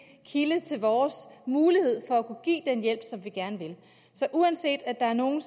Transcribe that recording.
kilde til vores mulighed for at kunne give den hjælp som vi gerne vil give så uanset at nogen